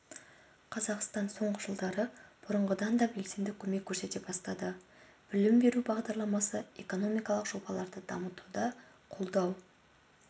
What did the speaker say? қазақстан соңғы жылдары бұрынғыдан да белсенді көмек көрсете бастады білім беру бағдарламасы экономикалық жобаларды дамытуда қолдау